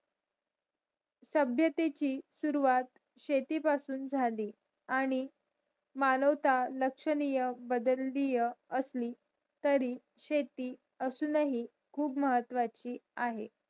तब्यतेची सुरवात शेती पासून जाली आणि मानवता लक्षणीय बदलली आसली तरी शेती असणं हि खूप महत्वाची आहे